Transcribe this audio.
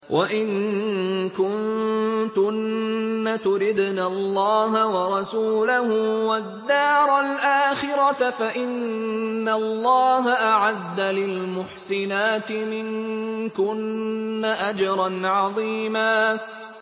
وَإِن كُنتُنَّ تُرِدْنَ اللَّهَ وَرَسُولَهُ وَالدَّارَ الْآخِرَةَ فَإِنَّ اللَّهَ أَعَدَّ لِلْمُحْسِنَاتِ مِنكُنَّ أَجْرًا عَظِيمًا